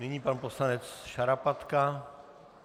Nyní pan poslanec Šarapatka.